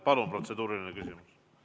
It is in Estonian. Palun protseduuriline küsimus!